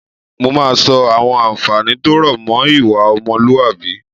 Mo máa sọ àwọn àǹfààní tó rọ̀ mọ́ ìwà ọmọlúwàbí